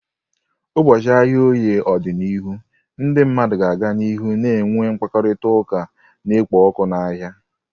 N'ụbọchị ahịa Oye n'ọdịnihu, ndị mmadụ ga-aga n'ihu na-enwe mkparịta ụka na-ekpo ọkụ n'ahịa.